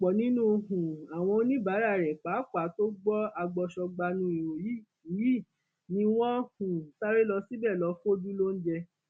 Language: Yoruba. ọpọ nínú um àwọn oníbàárà rẹ pàápàá tó gbọ agbọsọgbànú ìròyìn yìí ni wọn um sáré lọ síbẹ lọọ fojú lóúnjẹ